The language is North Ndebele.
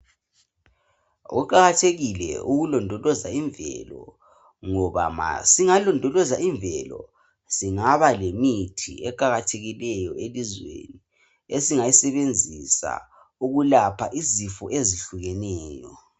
kuqakathekile ukulondoloza imvelo ngoba ma singalondoloza imvelo singaba lemithi eqakathekileyo elizweni esingayisebenzisa ukulapha izifo ezihlukeneyo